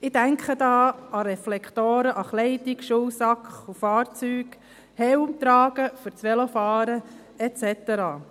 Ich denke da an Reflektoren an Kleidung, Schulsack und Fahrzeugen, Helmtragen beim Velofahren et cetera.